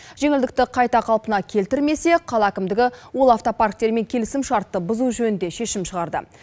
жеңілдікті қайта қалпына келтірмесе қала әкімдігі ол автопарктермен келісімшартты бұзу жөнінде шешім шығарды